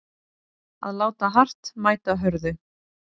Að láta hart mæta hörðu